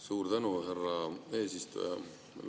Suur tänu, härra eesistuja!